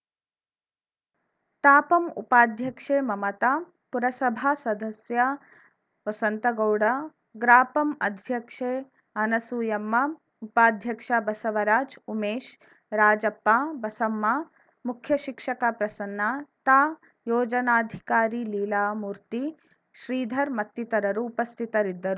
ತಾಪಂ ಉಪಾಧ್ಯಕ್ಷೆ ಮಮತಾ ಪುರಸಭಾ ಸದಸ್ಯ ವಸಂತಗೌಡ ಗ್ರಾಪಂ ಅಧ್ಯಕ್ಷೆ ಅನಸೂಯಮ್ಮ ಉಪಾಧ್ಯಕ್ಷ ಬಸವರಾಜ್‌ ಉಮೇಶ್‌ ರಾಜಪ್ಪ ಬಸಮ್ಮ ಮುಖ್ಯ ಶಿಕ್ಷಕ ಪ್ರಸನ್ನ ತಾಯೋಜನಾಧಿಕಾರಿ ಲೀಲಾಮೂರ್ತಿ ಶ್ರೀಧರ್‌ ಮತ್ತಿತರರು ಉಪಸ್ಥಿತರಿದ್ದರು